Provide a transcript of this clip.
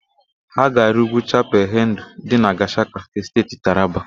Ha ga-arị úgwú Chapal Hendu dị na Gashaka nke Steeti Taraba.